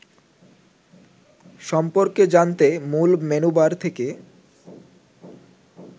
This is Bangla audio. সম্পর্কে জানতে মূল মেনুবার থেকে